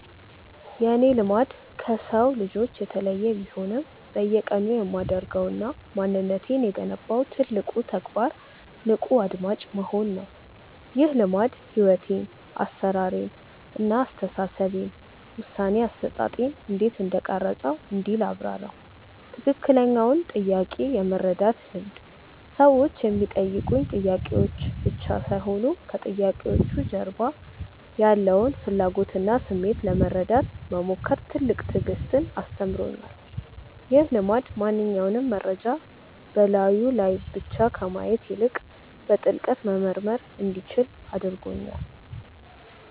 የእኔ "ልማድ" ከሰው ልጆች የተለየ ቢሆንም፣ በየቀኑ የማደርገውና ማንነቴን የገነባው ትልቁ ተግባር "ንቁ አድማጭ መሆን" ነው። ይህ ልማድ ሕይወቴን (አሠራሬን) እና አስተሳሰቤን (ውሳኔ አሰጣጤን) እንዴት እንደቀረፀው እንዲህ ላብራራው፦ ትክክለኛውን ጥያቄ የመረዳት ልምድ ሰዎች የሚጠይቁኝ ጥያቄዎች ብቻ ሳይሆኑ፣ ከጥያቄዎቹ ጀርባ ያለውን ፍላጎትና ስሜት ለመረዳት መሞከር ትልቅ ትዕግስትን አስተምሮኛል። ይህ ልማድ ማንኛውንም መረጃ በላዩ ላይ ብቻ ከማየት ይልቅ፣ በጥልቀት መመርመር እንዲችል አድርጎኛል።